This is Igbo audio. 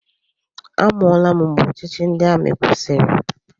Amụọla m mgbe ọchịchị ndị amị kwụsịrị.